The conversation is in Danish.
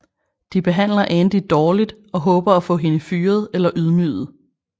De behandler Andy dårligt og håber at få hende fyret eller ydmyget